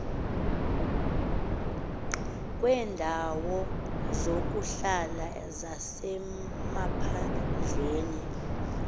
kweendawo zokuhlala zasemaphandleni